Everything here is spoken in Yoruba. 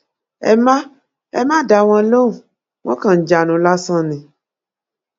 ẹ má ẹ má dá wọn lóhùn wọn kàn ń jánu lásán ni